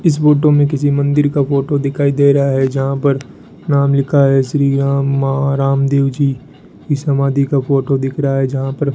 इस फोटो में किसी मंदिर का फोटो दिखाई दे रहा है जहां पर नाम लिखा है श्री राम महाराम देव जी इस समाधि का फोटो दिख रहा है जहां पर --